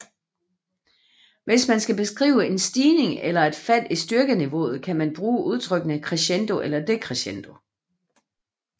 Hvis man skal beskrive en stigning eller et fald i styrkeniveauet kan man bruge udtrykkene crescendo og decrescendo